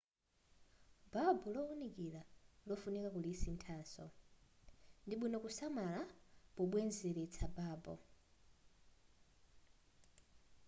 babu lowunikira lofunika kulisinthaso ndibwino kusamala pobwezeletsa babu